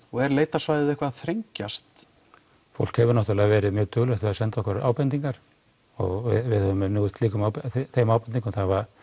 og er leitarsvæðið eitthvað að þrengjast fólk hefur náttúrulega verið mjög duglegt við að senda okkur ábendingar og við höfum unnið úr þeim ábendingum